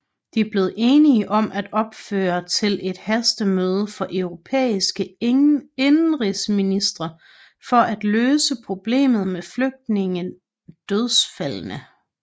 De blev enige om at opfordre til et hastemøde for europæiske indenrigsministre for at løse problemet med flygtninge dødsfaldene